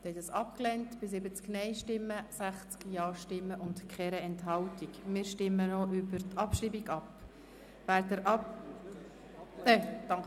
Sie haben diese Motion mit 70 Nein- gegenüber 60 Ja-Stimmen bei 0 Enthaltungen abgelehnt.